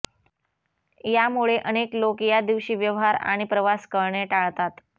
यामुळे अनेक लोक या दिवशी व्यवहार आणि प्रवास करणे टाळतात